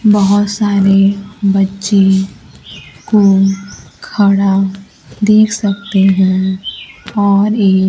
बहोत सारे बच्चे को खड़ा देख सकते है और एक--